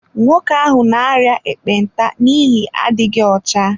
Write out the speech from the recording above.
Nwoke ahụ n'aria ekpenta n'ihi adịghị ọcha